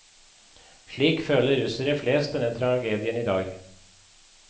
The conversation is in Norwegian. Slik føler russere flest denne tragedien i dag.